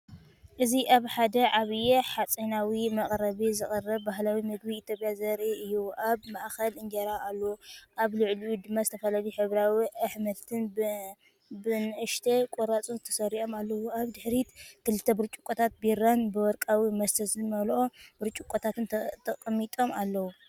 እዚ ኣብ ሓደ ዓቢ ሓጺናዊ መቅረቢ ዝቐርብ ባህላዊ መግቢ ኢትዮጵያ ዘርኢ እዩ። ኣብ ማእከል እንጀራ ኣሎ፣ ኣብ ልዕሊኡ ድማ ዝተፈላለዩ ሕብራዊ ኣሕምልትን ብንኣሽቱ ቁራጽ ተሰሪዖም ኣለዉ። ኣብ ድሕሪት ክልተ ብርጭቆታት ቢራን ብወርቃዊ መስተ ዝመልአ ብርጭቆታትን ተቐሚጦም ኣለዉ።